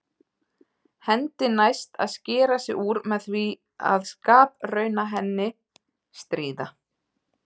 Hendi næst að skera sig úr með því að skaprauna henni, stríða.